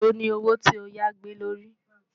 èlò ní owó tí ọ yá gbé ló rí